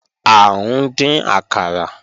À ń dín àkàrà